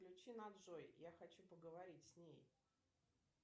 включи на джой я хочу поговорить с ней